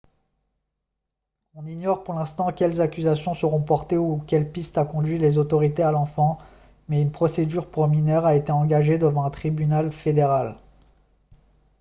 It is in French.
on ignore pour l'instant quelles accusations seront portées ou quelle piste a conduit les autorités à l'enfant mais une procédure pour mineurs a été engagée devant un tribunal fédéral